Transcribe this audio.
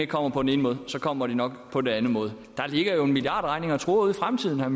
kommer på den ene måde kommer de nok på en anden måde der ligger jo en milliardregning og truer ude i fremtiden herre